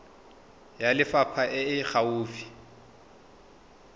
ya lefapha e e gaufi